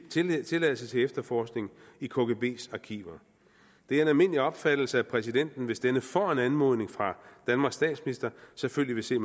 tilladelse til efterforskning i kgbs arkiver det er en almindelig opfattelse at præsidenten hvis denne får en anmodning fra danmarks statsminister selvfølgelig vil se